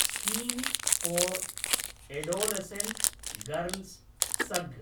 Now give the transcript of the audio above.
scheme for adolescent girls सग्